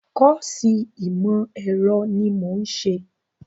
Kọ́ọ̀sì ìmọ̀ ẹ̀rọ ni mò ń ṣe